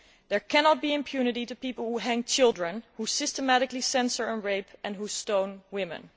There cannot be impunity for people who hang children, who systematically censor and rape, and who stone women.